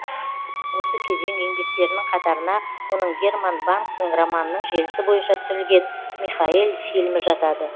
осы кезең еңбектерінің қатарына оның герман бангтың романының желісі бойынша түсірілген михаэль фильмі жатады